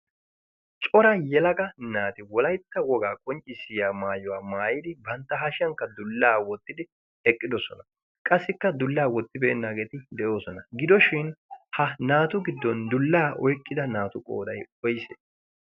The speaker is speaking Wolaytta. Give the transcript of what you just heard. cora yelaga naati wolaytta wogaa qonccissiya maayuwaa maayidi bantta hashiyankka dullaa wottidi eqqidosona. qassikka dullaa wottibeennaageeti de'oosona. gidoshin ha naatu giddon dullaa oyqqida naatu qooday woysee?